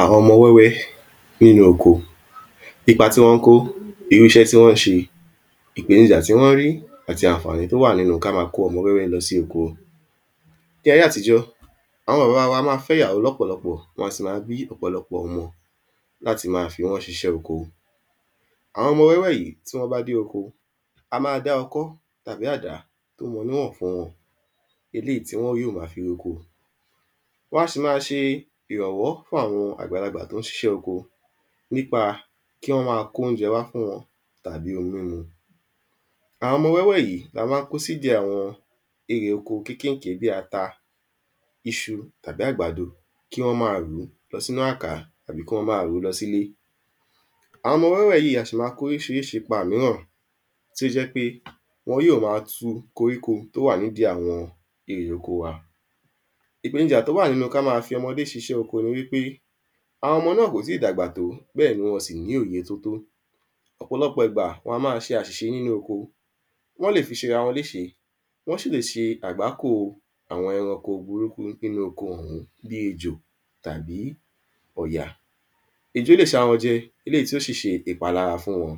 Àwọn ọmọ wẹ́wẹ́ nínú oko ipa tí wọ́n ń kó irú iṣẹ́ tí wọ́n ń ṣe ìpènijà tí wọ́n ń ri àti ànfààní tó wà nínú kí á máa kó ọmọ wẹ́wẹ́ lọ sí oko ní ayẹ́ àtijọ́ àwọn bàbá wa a máa fẹ́ ìyàwó lọ́pọ̀lọ́pọ̀ wọn a sì máa bí ọ̀pọ̀lọpọ̀ ọmọ láti máa fi wọ́n ṣiṣẹ́ oko àwọn ọmọ wẹ́wẹ́ yìí tí wọ́n bá dé oko a máa dá ọkọ́ tàbí àdá tó mọ níwọ̀n fún wọn eléyìí tí wọ́n yóò máa fi roko wọn a sì máa ṣe ìrànwọ́ fún àwọn àgbàlagbà tó ń ṣiṣẹ́ oko nípa kí wọ́n ó máa kó oúnjẹ wá fún wọn tàbí omi mímu àwọn ọmọ wẹ́wẹ́ yìí la máa ń kó sí ìdí àwọn erè oko kínkìnkín bí ata iṣu tàbí àgbàdo kí wọn máa rù lọ sínú àká tàbí kí wọ́n máa rù lọ sịlé àwọn ọmọ wẹ́wẹ́ yìí a sí máa kó orísirísi ipá ìmíràn tí ó jẹ́ pé wọ́n yóò máa tú koríko tó wà ní idí àwọn erè oko wa ìpènijà tó wà nínú kí á máa fi ọmọdé ṣiṣẹ́ oko ní ẃipé àwọn ọmọ náà kò tí dàgbà tó béèni wọn ò sì ní òye tótó ọ̀pọ̀lọpọ̀ ìgbà wọn a máa ṣe àṣìṣe nínú oko wọ́n le fi ṣe ara wọn léṣe wo sì leṣe àgbákò àwọn ẹranko burúkú nínú oko òhún bí ejò tàbí ọ̀yà ejò le ṣá wọn jẹ eléyìí tí ó sìṣe ìpalára fún wọn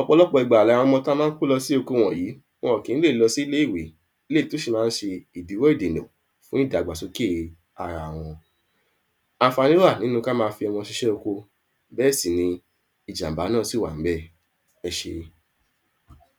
ọ̀pọlọpọ ìgbà ni àwọn ọmọ tí a máa ń kó lọ sí oko wọ̀nyí wọn kín lọ sílé ìwé eléyìí tó sì máa ń ṣe ìdíwọ́ ìdìnà fún ìdàgbàsókè ara wọn ànfààní wà nínú kí á máa fi ọmọ ṣiṣẹ́ oko béè sì ni ìjàmbá náà si wà ń bè ẹṣé